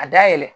A dayɛlɛ